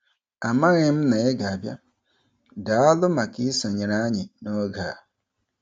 Amaghị m na ị ga-abịa - Daalụ maka isonyere anyị n'oge a.